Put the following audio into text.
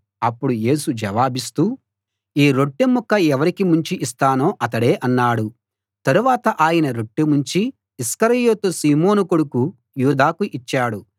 అప్పుడు యేసు జవాబిస్తూ ఈ రొట్టె ముక్క ఎవరికి ముంచి ఇస్తానో అతడే అన్నాడు తరువాత ఆయన రొట్టె ముంచి ఇస్కరియోతు సీమోను కొడుకు యూదాకు ఇచ్చాడు